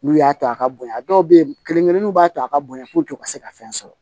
N'u y'a to a ka bonya dɔw bɛ ye kelen-kelen b'a to a ka bonya u ka se ka fɛn sɔrɔ